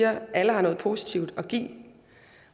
at alle har noget positivt at give